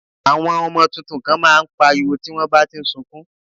Àwọn ọmọ tuntun kan má a ń pariwo tí wọ́n bá ti ń sukún